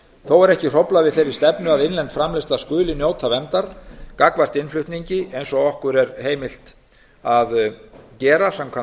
þó er ekki hróflað við þeirri stefnu að innlend framleiðsla skuli njóta verndar gagnvart innflutningi eins og okkur er heimilt að gera samkvæmt